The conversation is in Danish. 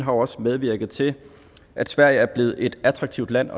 også medvirket til at sverige er blevet et attraktivt land